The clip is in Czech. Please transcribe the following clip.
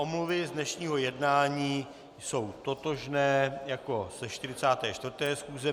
Omluvy z dnešního jednání jsou totožné jako ze 44. schůze.